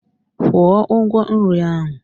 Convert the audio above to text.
Kwụọ ụgwọ nri ahụ!